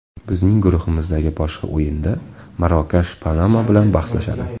Bizning guruhimizdagi boshqa o‘yinda Marokash Panama bilan bahslashadi.